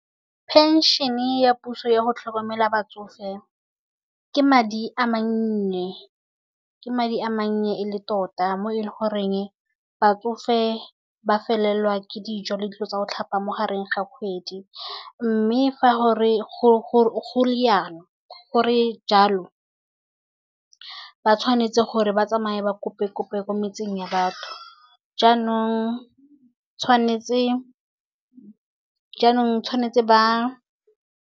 Phenšhene ya puso yago tlhokomela batsofe, ke madi a mannye. Ke madi a mannye e le tota, mo e le gore batsofe ba felelwa ke dijo le dilo tsa go tlhapa mo gare ga kgwedi. Mme fa go le jalo, ba tshwanetse gore ba tsamaye ba kope-kope ko metseng ya batho, jaanong tshwanetse ba.